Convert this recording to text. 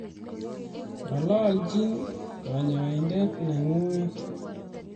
Ng'alalchi kanyaindet neng'ung'et